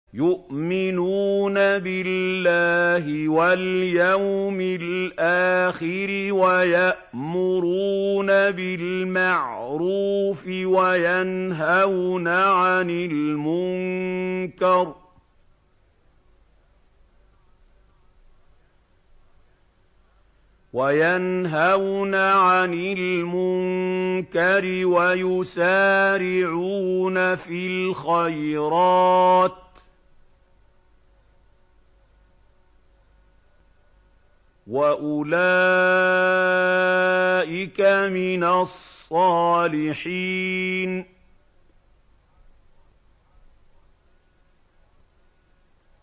يُؤْمِنُونَ بِاللَّهِ وَالْيَوْمِ الْآخِرِ وَيَأْمُرُونَ بِالْمَعْرُوفِ وَيَنْهَوْنَ عَنِ الْمُنكَرِ وَيُسَارِعُونَ فِي الْخَيْرَاتِ وَأُولَٰئِكَ مِنَ الصَّالِحِينَ